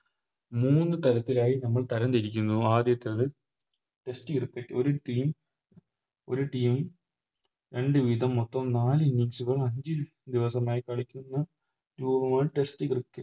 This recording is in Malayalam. മൂന്ന് താരത്തിലായി നമ്മൾ തരം തിരിക്കുന്നു ആദ്യത്തത് Test cricket ഒര് Team ഒര് Team രണ്ട് വീതം മൊത്തം നാല് Innings കൾ ആദ്യം ദിവസമായി കളിക്കുന്നു Test cricket